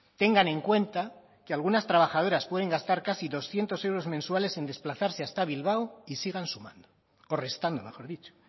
tengan en cuenta que algunas trabajadoras pueden gastar casi doscientos euros mensuales en desplazarse hasta bilbao y sigan sumando o restando mejor dicho